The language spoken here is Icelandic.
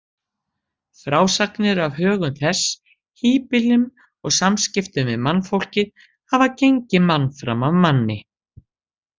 Frásagnir af högum þess, híbýlum og samskiptum við mannfólkið hafa gengið mann fram af manni.